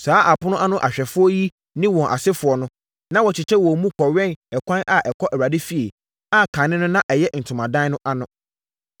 Saa apono ano ahwɛfoɔ yi ne wɔn asefoɔ no, na wɔkyekyɛ wɔn mu kɔwɛn ɛkwan a ɛkɔ Awurade efie, a kane no na ɛyɛ ntomadan no ano.